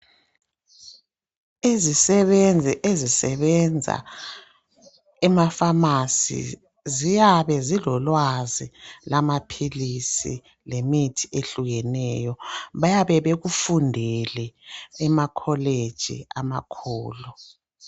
Izisebenzi ezisebenza emafasi ziyabe zilolwazi lwamaphilisi lemithi ehlukeneyo . Bayabe bekufundele emakholeji amakhulu.